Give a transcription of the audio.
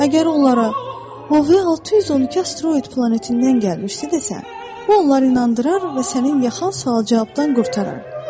Əgər onlara Bovye 612 asteroid planetindən gəlmişdi desən, bu onları inandırar və sənin yaxan sual-cavabdan qurtarar.